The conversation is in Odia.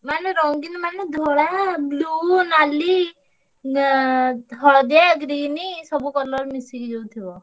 ମାନେ ରଙ୍ଗୀନ ମାନେ ଧଳା, blue ନାଲି ଏଁ ହଳଦିଆ green ସବୁ colour ଯୋଉ ମିଶିକି ଥିବ।